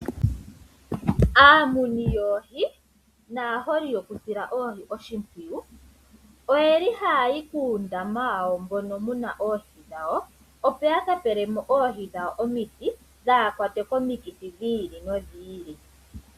Aamuni yoohi naaholi yoku sila oohi oshimpwiyu. Oyeli haya yi kuundama wawo mono mbono wuna oohi dhawo . Opo yaka pelemo oohi dhawo omiti dhaakwatwe komikithi dhi ili nodhi ili.